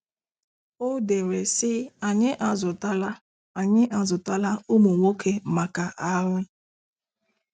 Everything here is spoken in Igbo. O dere sị, “Anyị azụtala “Anyị azụtala ụmụ nwoke maka agha.